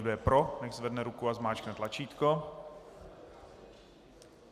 Kdo je pro, ať zvedne ruku a zmáčkne tlačítko.